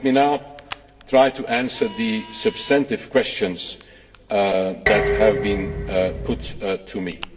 later. Let me now try to answer the substantive questions that have been put